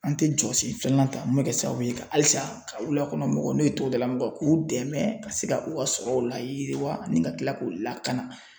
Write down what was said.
An tɛ jɔ sen filanan ta mun bɛ kɛ sababu ye ka halisa ka wulakɔnɔmɔgɔw n'o ye togodalamɔgɔw k'u dɛmɛ ka se ka u ka sɔrɔw la yiriwa ani ka tila k'u lakana